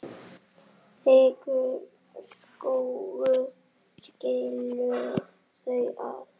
Þykkur skógur skilur þau að.